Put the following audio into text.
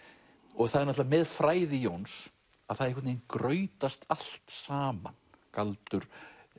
og það er náttúrulega með fræði Jóns að það grautast allt saman galdur